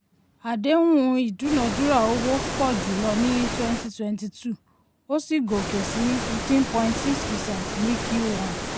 àdéhùn ìdúnádúrà owó pọ̀ jùlọ ní twenty twenty two ó sì gòkè sí fifteen point six percent ní q one.